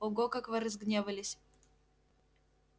ого как вы разгневались